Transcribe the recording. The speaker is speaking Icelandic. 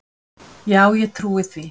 Já ég trúi því.